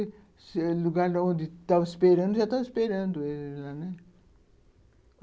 O lugar onde estavam esperando, já estavam esperando eles lá.